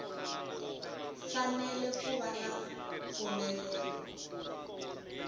fanele ku va na mpfumelelo